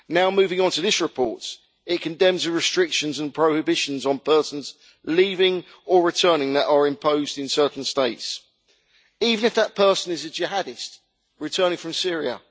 Moving onto this report, it condemns the restrictions and prohibitions on persons leaving or returning that are imposed in certain states even if that person is a jihadist returning from Syria.